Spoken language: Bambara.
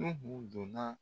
Nuhu don na